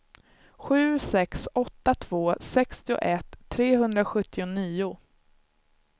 sju sex åtta två sextioett trehundrasjuttionio